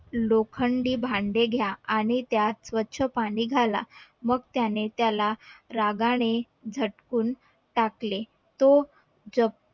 लोखंडी भांडे घ्या आणि त्यात स्वच्छ पाणी घाला मग त्यानी त्याला रागाने झटकून टाकले तो ज